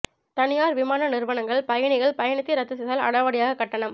தனியார் விமான நிறுவனங்கள் பயணிகள் பயணத்தை ரத்து செய்தால் அடாவடியாக கட்டணம்